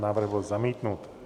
Návrh byl zamítnut.